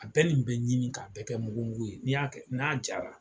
A bɛɛ nin bɛ ɲimi k'a bɛɛ kɛ mugu ye n'i y'a kɛ n'a jara